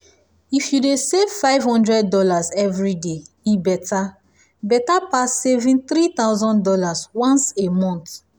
if you dey save five hundred dollars every day e better better pass saving three thousand dollars once a month.